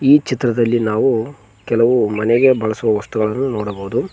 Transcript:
ಈ ಚಿತ್ರದಲ್ಲಿ ನಾವು ಕೆಲವು ಮನೆಗೆ ಬಳಸುವ ವಸ್ತುಗಳನ್ನು ನೋಡಬಹುದು.